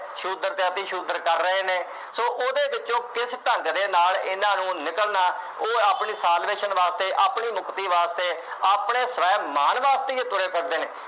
ਸ਼ੂਦਰ ਤੇ ਅੱਤ ਹੀ ਸ਼ੂਦਰ ਕਰ ਰਹੇ ਨੇ। ਸੋ ਉਹਦੇ ਵਿੱਚੋਂ ਕਿਸ ਢੰਗ ਦੇ ਨਾਲ ਇਹਨਾ ਨੂੰ ਨਿਗਲਨਾ ਉਹ ਆਪਣੀ ਵਾਸਤੇ ਆਪਣੀ ਮੁਕਤੀ ਵਾਸਤੇ, ਆਪਣੇ ਸਵੈ ਮਾਣ ਵਾਸਤੇ ਹੀ ਇਹ ਤੁਰੇ ਫਿਰਦੇ ਨੇ,